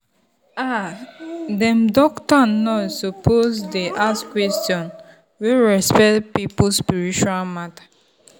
ah dem doctor and nurse suppose dey ask question wey respect people spiritual matter.